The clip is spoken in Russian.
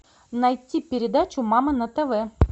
найти передачу мама на тв